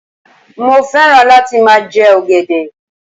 Mo fẹ́ràn láti máa jẹ ọ̀gẹ̀dẹ̀